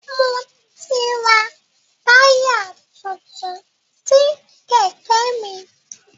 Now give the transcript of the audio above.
Mo ti rà táyà tuntun sí Kẹ̀kẹ́ mi